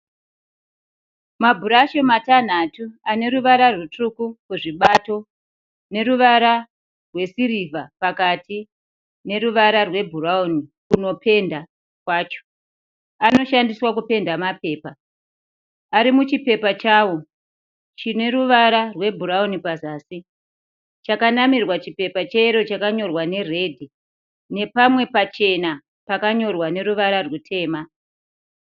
Mabhurashu matanhatu ane ruvara rutsvuku kuzvibato neruvara rwesirivha pakati neruvara rwebhurawuni kunopenda kwacho. Anoshandiswa kupenda mapepa. Ari muchipepa chawo chine ruvara rwebhurawuni pazasi. Chakanamirwa chipepa cheyero chakanyorwa neredhi, nepamwe pachena pakanyorwa neruvara rutema.